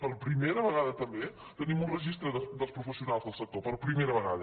per prime·ra vegada també tenim un registre dels professionals del sector per primera vegada